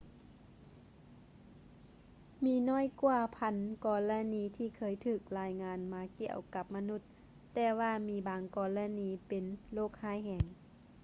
ມີຫນ້ອຍກວ່າພັນກໍລະນີທີ່ເຄີຍຖືກລາຍງານມາກ່ຽວກັບມະນຸດ ແຕ່ວ່າມີບາງກໍລະນີກໍເປັນໂຣກຮ້າຍແຮງ